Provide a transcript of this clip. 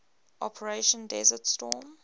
operation desert storm